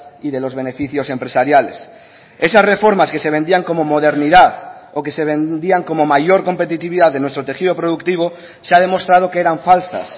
y de los beneficios empresariales esas reformas que se vendían como modernidad o que se vendían como mayor competitividad de nuestro tejido productivo se ha demostrado que eran falsas